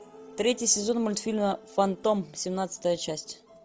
третий сезон мультфильма фантом семнадцатая часть